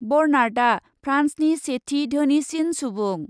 बर्नार्डआ फ्रान्सनि सेथि धोनिसिन सुबुं।